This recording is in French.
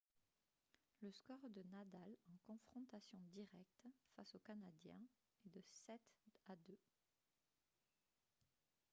le score de nadal en confrontations directes face au canadien est de 7-2